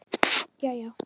Jæja?